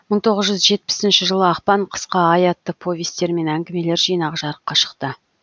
мың тоғыз жүз жетпісінші жылы ақпан қысқа ай атты повесьтер мен әңгімелер жинағы жарыққа шықты